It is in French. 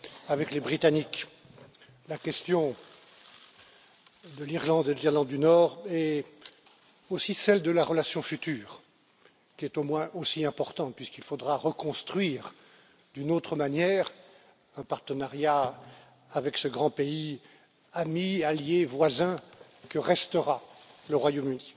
avec les Britanniques, la question de l'Irlande et de l'Irlande du Nord, et aussi celle de la relation future, qui est au moins aussi importante puisqu'il faudra reconstruire d'une autre manière un partenariat avec ce grand pays ami, allié, voisin que restera le Royaume Uni.